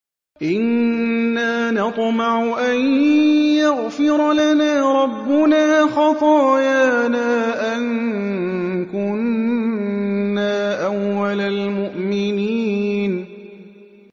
إِنَّا نَطْمَعُ أَن يَغْفِرَ لَنَا رَبُّنَا خَطَايَانَا أَن كُنَّا أَوَّلَ الْمُؤْمِنِينَ